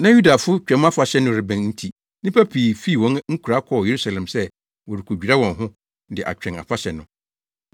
Na Yudafo Twam Afahyɛ no rebɛn nti nnipa pii fii wɔn nkuraa kɔɔ Yerusalem sɛ wɔrekodwira wɔn ho de atwɛn afahyɛ no.